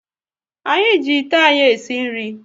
Anyị ji ite anyị e si nri